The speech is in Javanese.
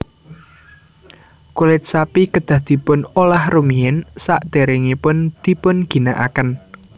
Kulit sapi kedah dipun olah rumiyin sadèrèngipun dipun ginakaken